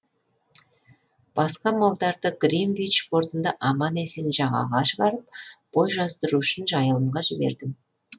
басқа малдарды гринвич портында аман есен жағаға шығарып бой жаздыру үшін жайылымға жібердім